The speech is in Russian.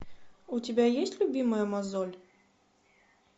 у тебя есть любимая мозоль